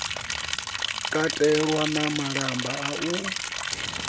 katelwa na malamba a u